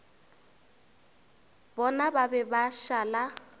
bona ba be ba šala